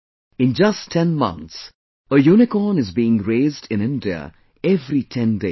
In just 10 months, a unicorn is being raised in India every 10 days